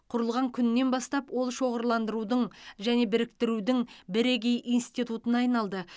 құрылғаннан күннен бастап ол шоғырландырудың және біріктірудің бірегей институтына айналды